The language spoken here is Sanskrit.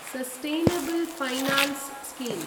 sustainable finance scheme